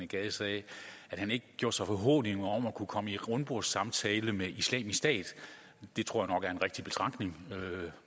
gade sagde at han ikke gjorde sig forhåbninger om at kunne komme til en rundbordssamtale med islamisk stat det tror er en rigtig betragtning